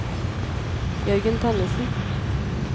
Jørgen Tønnessen